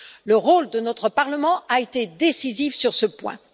Le rôle de notre Parlement a été décisif sur ce point.